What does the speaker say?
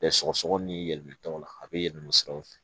sɔgɔsɔgɔni ni yɛlɛmɛ tɔw la a be yɛlɛma siraw fɛ